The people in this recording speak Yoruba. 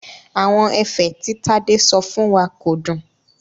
Àwọn ẹ̀fẹ̀ tí Tádé sọ fún wa kò dùn.